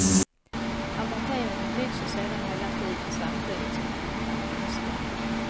Amorteringen växer sedan hela tiden samtidigt som räntan minskar.